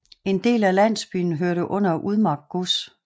En del af landsbyen hørte under Udmark gods